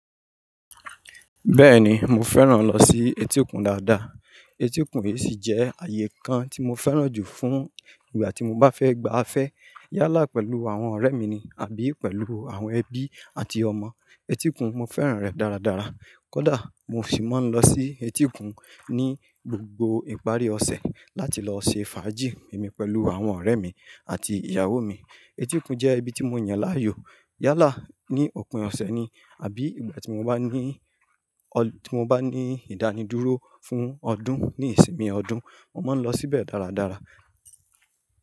Bẹ́ẹ̀ni, mo fẹ́ràn lọ sí etíkun dáadáa. Etíkun yìí sì jẹ́ ààyè kan tí mo fẹ́ràn jù fún ìgbà tí mo bá fẹ́ gba afẹ́ yálà pẹ̀lú àwọn ọ̀rẹ́ mi ní àbí pẹ̀lú àwọn ẹbí àti ọmọ. Etíkun mo fẹ́ràn rẹ̀ dáradára. Kódà mo sì máa ń lọ sí etíkun ní gbogbo ìparí ọ̀sẹ̀ láti lọ ṣe fàájì mi pẹ̀lú àwọn ọ̀rẹ́ mi àti ìyàwó mi. Etíkun jẹ́ ibi tí mo yàn láàyò. Yálà ní òpin ọ̀sẹ̀ ni àbí ìgbà tí mo bá ní, tí mo bá ní ìdánidúró fún ọdún ní ìsinmi ọdún, mo máa ń lọ síbẹ̀ dáradára.